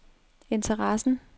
interessen